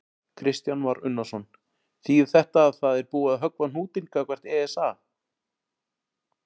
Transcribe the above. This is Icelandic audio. Kristján Már Unnarsson: Þýðir þetta að það er búið að höggva á hnútinn gagnvart ESA?